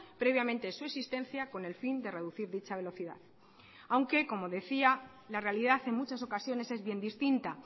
previamente su existencia con el fin de reducir dicha velocidad aunque como decía la realidad en muchas ocasiones es bien distinta